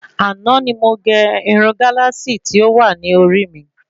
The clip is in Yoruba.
Àná ni mo gé Irun Galasi tí o wa ni orí mi